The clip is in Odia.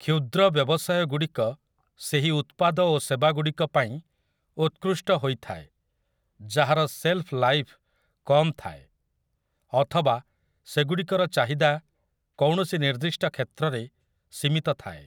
କ୍ଷୁଦ୍ର ବ୍ୟବସାୟଗୁଡ଼ିକ ସେହି ଉତ୍ପାଦ ଓ ସେବାଗୁଡ଼ିକ ପାଇଁ ଉତ୍କୃଷ୍ଟ ହୋଇଥାଏ ଯାହାର ସେଲ୍ଫ୍ ଲାଇଫ୍ କମ୍ ଥାଏ, ଅଥବା ସେଗୁଡ଼ିକର ଚାହିଦା କୌଣସି ନିର୍ଦ୍ଦିଷ୍ଟ କ୍ଷେତ୍ରରେ ସୀମିତ ଥାଏ ।